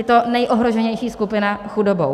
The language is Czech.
Je to nejohroženější skupina chudobou.